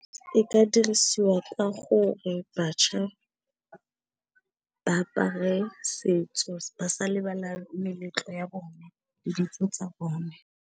E ka dirisiwa ka gore bašwa ba apare setso, ba sa lebala meletlo ya bona le ditso tsa bone.